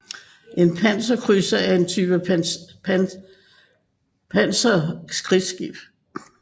En panserkrydser er en type pansret krigsskib